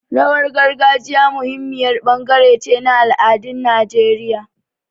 Rawar gargajiya muhimmiyar bangare ce na al'adun Najeriya.